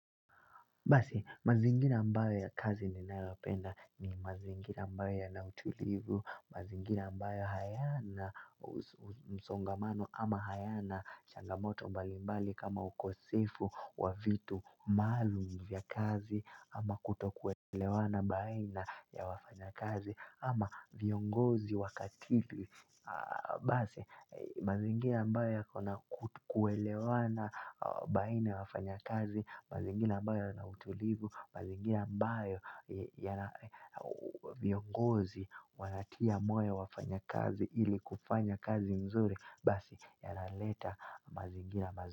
Basi, mazingira ambayo ya kazi ninayopenda ni mazingira ambayo yana utulivu, mazingira ambayo hayana msongamano ama hayana changamoto mbalimbali kama ukosefu wa vitu maalum vya kazi ama kutokuelewana baina ya wafanyakazi ama viongozi wakatili. Basi mazingira ambayo yako na kuelewana baina ya wafanyakazi mazingira ambayo yana utulivu mazingira ambayo yana viongozi wanatia moyo wafanyakazi ili kufanya kazi nzuri basi yanaleta mazingira mazuri.